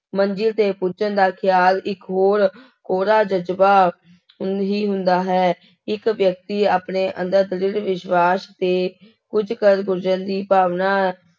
ਮੰਜ਼ਿਲ ਤੇ ਪੁੱਜਣ ਦਾ ਖਿਆਲ ਇੱਕ ਹੋਰ ਕੋਰਾ ਜ਼ਜ਼ਬਾ ਹੀ ਹੁੰਦਾ ਹੈ, ਇੱਕ ਵਿਅਕਤੀ ਆਪਣੇ ਅੰਦਰ ਦ੍ਰਿੜ ਵਿਸ਼ਵਾਸ਼ ਤੇ ਕੁੱਝ ਕਰ ਗੁਜ਼ਰਨ ਦੀ ਭਾਵਨਾ